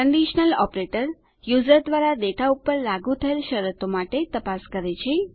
conditional operator user દ્વારા data પર લાગું થયેલી શરતો માટે તપાસ કરે છે